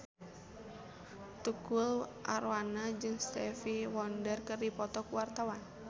Tukul Arwana jeung Stevie Wonder keur dipoto ku wartawan